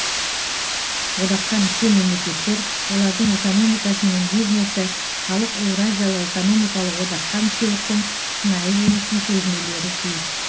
одаққа мүше мемлекеттер олардың экономикасымен бизнесі халық еуразиялық экономикалық одаққа мүшеліктің шынайы жемісін сезінулері тиіс